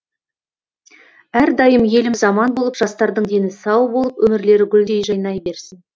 әрдайым еліміз аман болып жастардың дені сау болып өмірлері гүлдей жайнай берсін